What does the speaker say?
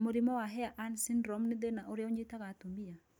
Mũrimũ wa HAIR AN syndrome nĩ thĩna ũrĩa ũnyitaga atumia